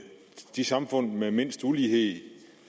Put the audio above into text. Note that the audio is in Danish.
de samfund med mindst ulighed